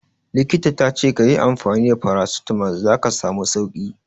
Likita ta ce ka yi amfani da Paracetamol za ka samu sauki.